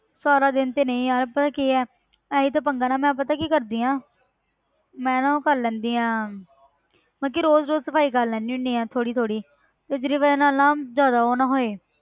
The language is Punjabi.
ਸਾਰਾ ਦਿਨ ਤੇ ਨਹੀਂ ਯਾਰ ਪਤਾ ਕੀ ਹੈ ਇਹੀ ਤਾਂ ਪੰਗਾ ਮੈਂ ਪਤਾ ਕੀ ਕਰਦੀ ਹਾਂ ਮੈਂ ਨਾ ਉਹ ਕਰ ਲੈਂਦੀ ਹਾਂ ਮਤਲਬ ਕਿ ਰੋਜ਼ ਰੋਜ਼ ਸਫ਼ਾਈ ਕਰ ਲੈਂਦੀ ਹੁੰਦੀ ਹਾਂ ਥੋੜ੍ਹੀ ਥੋੜ੍ਹੀ ਤੇ ਜਿਹਦੀ ਵਜ੍ਹਾ ਨਾਲ ਨਾ ਜ਼ਿਆਦਾ ਉਹ ਨਾ ਹੋਏ।